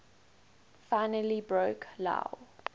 finally broke lou